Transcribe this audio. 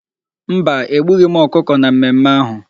Mba, egbughị m ọkụkọ na mmemme ahu.